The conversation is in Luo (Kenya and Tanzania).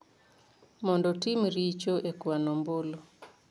mondo otim richo e kwano ombulu.